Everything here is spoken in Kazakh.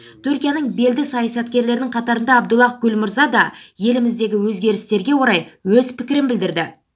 түркияның белді саясаткерлерінің қатарында абдуллах гүл мырза да еліміздегі өзгерістерге орай өз пікірін білдірді